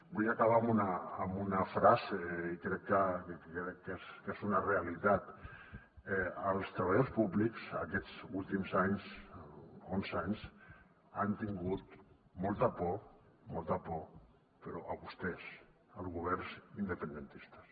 vull acabar amb una frase que crec que és una realitat els treballadors públics aquests últims anys onze anys han tingut molta por molta por però a vostès als governs independentistes